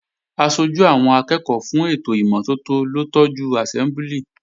Aṣojú àwọn akẹ́ẹ̀kọ́ fún ètò ìmọ́tótó ló tọ́jú àsẹ́mbúlì